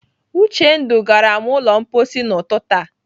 Uchendu gara m ụlọ mposi n'ụtụtụ a.